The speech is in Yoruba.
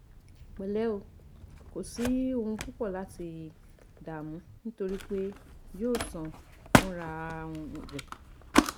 Pẹlẹ o Kò sí ohun púpọ̀ láti dààmú nítorí pé yóò sàn fúnra um rẹ̀